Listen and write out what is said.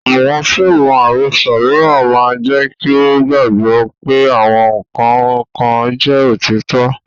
Àwọn fíìmù àròsọ mìíràn máa jẹ́ kí o gbàgbọ́ pé àwọn nǹkan kan jẹ́ òtítọ́.